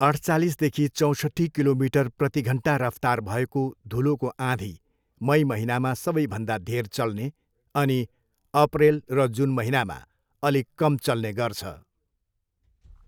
अठचालिसदेखि चौँसठ्ठी किलोमिटर प्रतिघन्टा रफ्तार भएको धुलोको आँधी मई महिनामा सबैभन्दा धेर चल्ने अनि अप्रेल र जुन महिनामा अलिक कम चल्ने गर्छ।